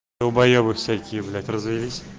долбоебы всякие блять развелись